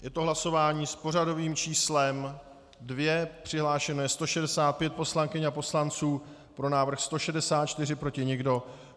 Je to hlasování s pořadovým číslem 2, přihlášeno je 165 poslankyň a poslanců, pro návrh 164, proti nikdo.